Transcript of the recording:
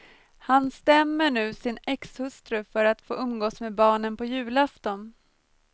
Han stämmer nu sin exhustru för att få umgås med barnen på julafton.